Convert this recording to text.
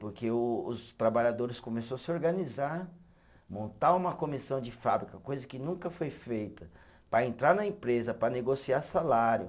Porque o os trabalhadores começou a se organizar, montar uma comissão de fábrica, coisa que nunca foi feita, para entrar na empresa, para negociar salário.